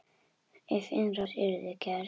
Ef innrás yrði gerð?